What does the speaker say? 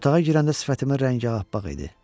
Otağa girəndə sifətimin rəngi ağappaq idi.